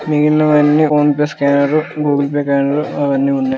ఓ side గా ఒకటేమో పువ్వుల బోకే నీళ్ళు--